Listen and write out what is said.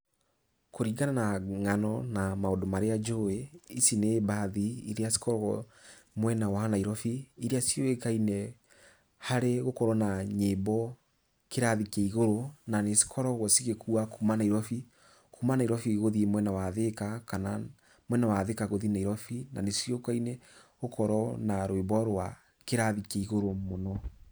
Kũringana na ng'ano na maũndũ marĩa njũĩ, ici nĩ mbathi iria cikoragwo mwena wa Nairobi, iria ciũĩkaine harĩ gũkorwo na nyĩmbo kĩrathi kĩa igũrũ, na nĩcikoragwo cigĩkua kuuma Nairobi. Kuuma Nairobi gũthiĩ mwena wa Thĩka, kana mwena wa Thĩka gũthiĩ Nairobi na nĩciũĩkaine gũkorwo na rwĩmbo rwa kĩrathi kĩa igũrũ mũno.